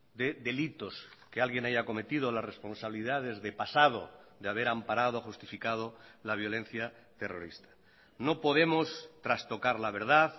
de delitos que alguien haya cometido o las responsabilidades de pasado de haber amparado o justificado la violencia terrorista no podemos trastocar la verdad